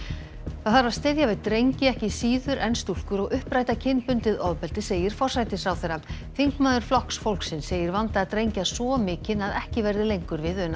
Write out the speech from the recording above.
það þarf að styðja við drengi ekki síður en stúlkur og uppræta kynbundið ofbeldi segir forsætisráðherra þingmaður Flokks fólksins segir vanda drengja svo mikinn að ekki verði lengur við unað